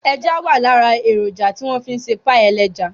Ẹja wà lára èròjà tí wọ́n fi ń ṣe páì ẹlẹ́ja